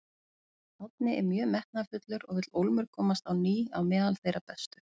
Árni er mjög metnaðarfullur og vill ólmur komast á ný á meðal þeirra bestu.